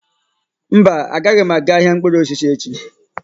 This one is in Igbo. Mba, agaghị m aga ahịa mkpụrụ osisi echi.